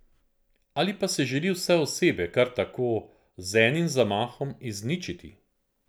Ali pa želi vse osebe, kar tako, z enim zamahom, izničiti?